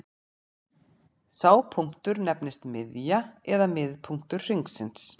Sá punktur nefnist miðja eða miðpunktur hringsins.